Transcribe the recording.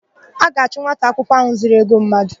A ga-achụ nwata akwụkwọ áhụ̀ zuru ego mmadụ.